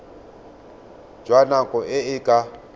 jwa nako e e ka